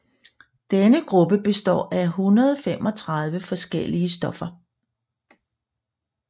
Denne gruppe består af 135 forskellige stoffer